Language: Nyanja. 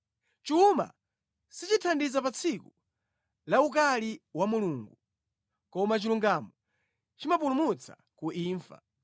Chuma sichithandiza pa tsiku lawukali wa Mulungu, koma chilungamo chimapulumutsa ku imfa.